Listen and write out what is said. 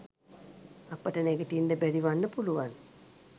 අපට නැගිටින්න බැරි වන්න පුළුවන්